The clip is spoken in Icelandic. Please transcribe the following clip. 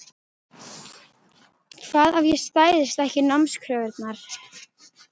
Hvað ef ég stæðist ekki námskröfurnar?